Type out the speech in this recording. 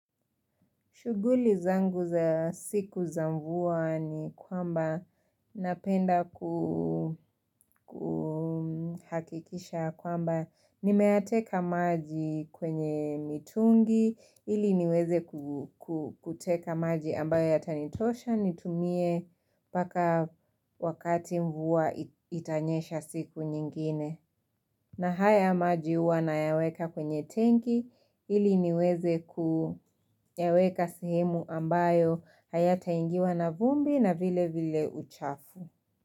Shuguli zangu za siku za mvua ni kwamba napenda kuhakikisha kwamba nimeyateka maji kwenye mitungi ili niweze kuteka maji ambayo yatanitosha nitumie paka wakati mvua itanyesha siku nyingine. Na haya maji uwa na yaweka kwenye tenki ili niweze kuyaweka sehemu ambayo hayataingiwa na vumbi na vile vile uchafu.